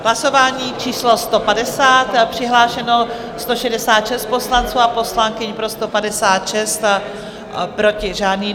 Hlasování číslo 150, přihlášeno 166 poslanců a poslankyň, pro 156, proti žádný.